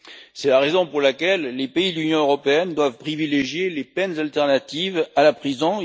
C'est la raison pour laquelle les pays de l'Union européenne doivent privilégier les peines alternatives à la prison.